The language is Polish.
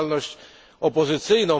działalność opozycyjną.